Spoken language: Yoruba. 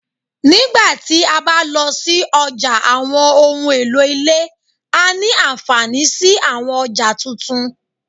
Nígbà ti a ba lọ si ọja awọn ohun elo ile, a ní anfaani si àwọn ọja tuntun